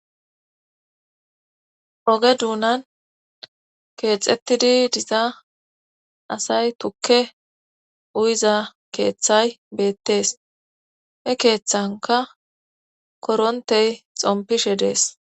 oge duunan keexettidi diza asay tukke uyiza keeththay beettees he keeththanka korontey xompishe dees